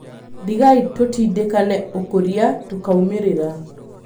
Ndigai tũtindekane ũkũrĩa tũkaumerĩra.